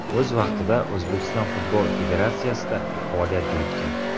O‘z vaqtida O‘zbekiston futbol federatsiyasida faoliyat yuritgan.